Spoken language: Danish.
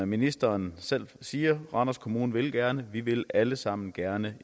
ministeren selv siger randers kommune vil gerne vi vil alle sammen gerne